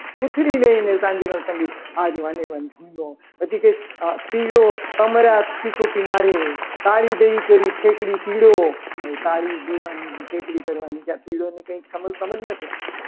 પૂંછડી લઈને સાંજનો સમય આ જવાની ભૂમ્યો. પછી કંઈ પીળો સમરસ સિસોટી મારે તાળી દઈ ઠેકડી પીળો હવે તાળી દેવાની ને ઠેકડી કરવાની કે આ પીળા ને કંઈ ખબર જ નથી.